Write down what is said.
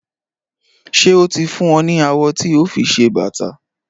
Ṣé o ti fún ọ ní awọ ti o fi se bàtà?